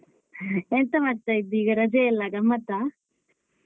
ಎಂತ ಮಾಡ್ತಾ ಇದ್ದಿ ಈಗ ರಜೆ ಅಲ್ಲ ಗಮ್ಮತಾ.